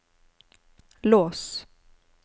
lås